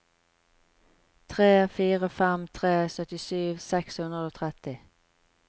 tre fire fem tre syttisju seks hundre og tretti